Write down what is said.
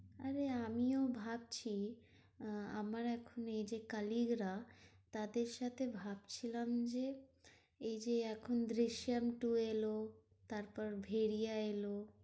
আরে আমিও ভাবছি আহ আমার একটা এই যে colleague রা তাদের সাথে ভাবছিলাম যে এইযে এখন দৃশ্যাম two এলো, তারপর ভেরিয়া এলো।